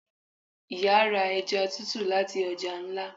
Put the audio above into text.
Iyá ra eja tútú latí ọja ńlá